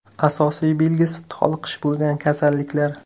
Asosiy belgisi toliqish bo‘lgan kasalliklar.